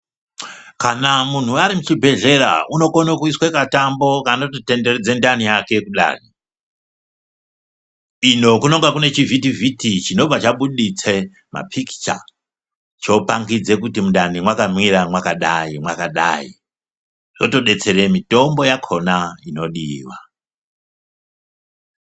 Kana munhu ari muchibhedhlera unokone kuiswe katambo kanototenderedze ndani yake kudani ino kunenge kune chivhitivhiti chinobva chabuditse mapikicha chopangidze kuti mundani mwakamira mwakadayi mwakadayi zvotobetsere mitombo yakona inodiwa.